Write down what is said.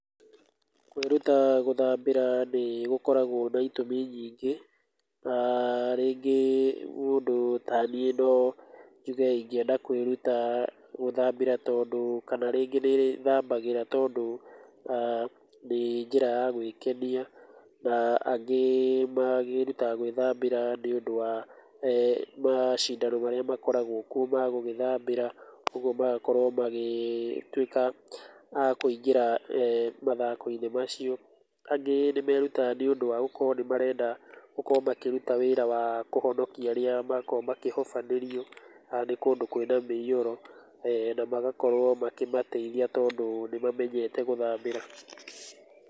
Kwĩruta gũthambĩra nĩ gũkoragwo na itũmi nyingĩ, na rĩngĩ mũndũ taniĩ no ithe ingĩenda kwĩruta gũthambĩra tondũ, kana rĩngĩ nĩndĩthambagĩra tondũ, nĩ njĩra ya gwĩkenia na angĩ, magĩrutaga gwĩthambĩra nĩtondũ wa macindano marĩa makoragwo kuo magwĩthambĩra, magakorwo magĩtwĩka a kũingĩra, mathako-inĩ macio, angĩ nĩmerutaga nĩũndũ wa gũkorwo nĩmarenda gũkorwo makĩruta wĩra wa kũhonokia arĩa makorwo makĩhobanĩrio nĩ kũndũ kwĩna mũiyũro, namagakorwo makĩmateithia tondũ nĩmamenyete gũthambĩra.